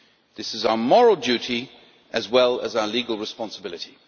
This is our moral duty as well as our legal responsibility.